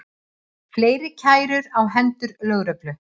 Fleiri kærur á hendur lögreglu